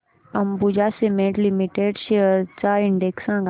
Ambuja cement limited shares चा index सांगा